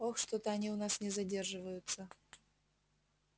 ох что-то они у нас не задерживаются